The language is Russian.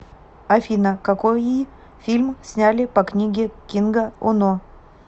афина какои фильм сняли по книге кинга оно